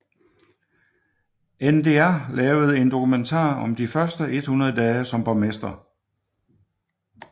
NDR lavede en dokumentar om de første 100 dage som borgmester